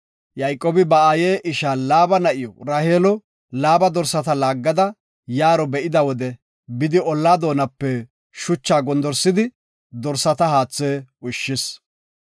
Yayqoobi ba aaye isha Laaba na7iw Raheelo Laaba dorsata laaggada yaaro be7ida wode bidi olla doonape shucha gondorsidi dorsata haathe ushshis.